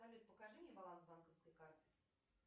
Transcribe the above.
салют покажи мне баланс банковской карты